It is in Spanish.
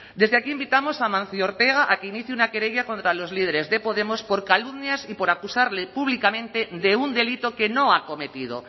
desde aquí invitamos a amancio ortega a que inicie una querella contra los líderes de podemos por calumnias y por acusarle públicamente de un delito que no ha acometido